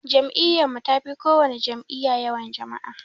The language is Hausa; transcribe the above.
Jam'iyyun mun tafi kowana jam'iyya yawan jama'a